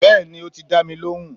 beeni o ti da mi lohùn